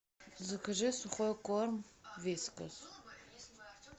закажи сухой корм вискас